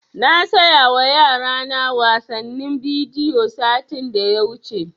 Na saya wa yara na wasannin bidiyo satin da ya wuce